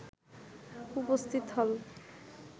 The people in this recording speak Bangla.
উপস্থিত হল